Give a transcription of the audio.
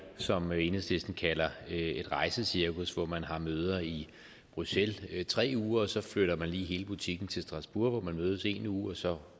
som enhedslisten kalder et rejsecirkus hvor man har møder i bruxelles tre uger og så flytter man lige hele butikken til strasbourg hvor man mødes en uge og så